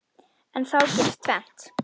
En þá gerist tvennt.